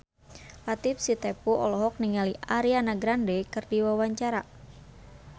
Latief Sitepu olohok ningali Ariana Grande keur diwawancara